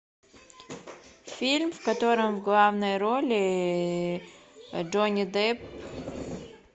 фильм в котором в главной роли джонни депп